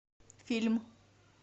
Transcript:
фильм